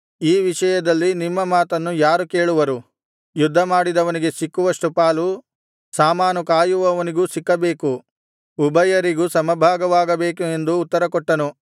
ಈ ವಿಷಯದಲ್ಲಿ ನಿಮ್ಮ ಮಾತನ್ನು ಯಾರು ಕೇಳುವರು ಯುದ್ಧಮಾಡಿದವನಿಗೆ ಸಿಕ್ಕುವಷ್ಟು ಪಾಲು ಸಾಮಾನು ಕಾಯುವವನಿಗೂ ಸಿಕ್ಕಬೇಕು ಉಭಯರಿಗೂ ಸಮಭಾಗವಾಗಬೇಕು ಎಂದು ಉತ್ತರಕೊಟ್ಟನು